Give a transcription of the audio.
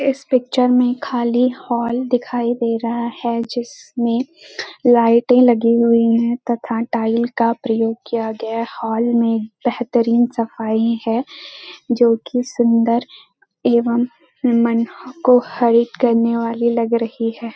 इस पिक्चर में खाली हॉल दिखाई दे रहा है जिसमें लाइटें लगी हुई हैं तथा टाइल का प्रयोग किया गया हॉल में बेहतरीन सफाई है जो कि सुंदर एवं मन को हरित करने वाली लग रही है।